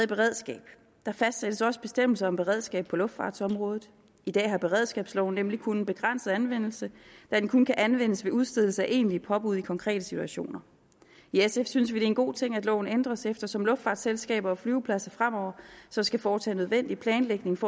beredskabet der fastsættes også bestemmelser om beredskab på luftfartsområdet i dag har beredskabsloven nemlig kun en begrænset anvendelse da den kun kan anvendes ved udstedelse af egentlige påbud i konkrete situationer i sf synes vi det er en god ting at loven ændres eftersom luftfartsselskaber og flyvepladser fremover så skal foretage nødvendig planlægning for